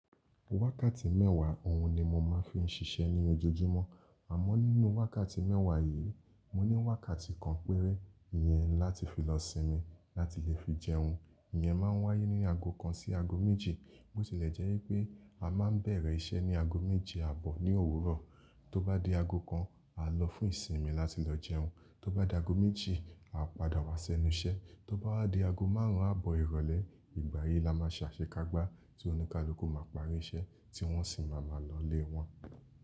Wákàtí mẹ́wàá òun ni mo máa ń fi ń ṣiṣẹ́ ní ojoojúmọ́. Àmọ́ nínú wákàtí mẹ́wàá yìí, mo ní wákàtí kan péré ìyẹn láti fi lọ sinmi láti lè fi jẹun. Ìyẹn máa ń wáyé ní ago kan sí ago méjì. Bó tilẹ̀ jẹ́ pé à máa bẹ̀rẹ̀ iṣẹ́ ní ago méjì àbọ̀ ní òwúrọ̀, tó bá di ago kan, a lọ fún ìsinmi láti lọ jẹun. Tó bá di ago méjì, a padà wá sẹ́nu iṣẹ́. Tó bá di ago márùn-ún àbọ̀ ìrọ̀lẹ́, ìgbà yìí la máa ṣàṣekágbá tí oníkálukú ma parí iṣẹ́ tí wọ́n sì máa má lọlé wọn.